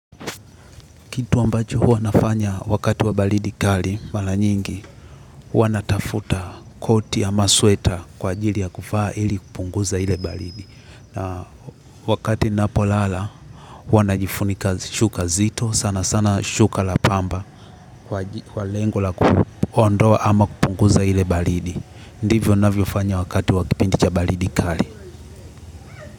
Kitu ambacho huwa nafanya wakati wa baridi kali, mara nyingi, huwa natafuta koti ya ama sweta kwa ajili ya kuvaa ili kupunguza ile baridi. Na wakati ninapolala, huwa najifunika shuka zito, sana sana shuka la pamba, kwa lengo la kuondoa ama kupunguza ile baridi. Ndivyo navyofanya wakati wa kipindi cha baridi kali.